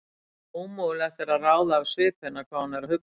Ómögulegt er að ráða af svip hennar hvað hún er að hugsa.